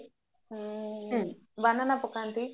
banana ପକାନ୍ତି